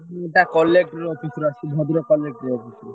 Collector office Bhadrak Collector office ରୁ?